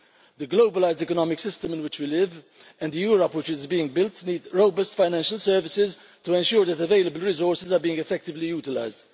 The globalised economic system in which we live, and the Europe which is being built, need robust financial services to ensure that available resources are being effectively utilised.